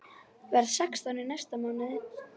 Verð sextán í næsta mánuði.